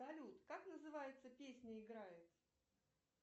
салют как называется песня играет